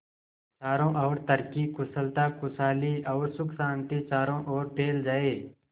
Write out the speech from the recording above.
चारों और तरक्की कुशलता खुशहाली और सुख शांति चारों ओर फैल जाए